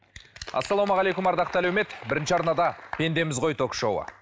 ассалаумағалейкум ардақты әлеумет бірінші арнада пендеміз ғой ток шоуы